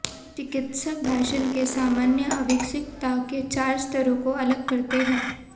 चिकित्सक भाषण के सामान्य अविकसितता के चार स्तरों को अलग करते हैं